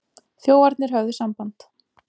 Þjófarnir höfðu samband.